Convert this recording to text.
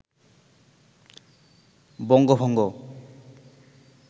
বঙ্গভঙ্গ